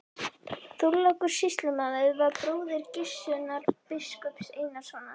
Þorlákur sýslumaður var bróðir Gissurar biskups Einarssonar.